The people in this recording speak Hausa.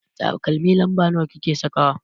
Takalmi lamba nawa kike sakawa?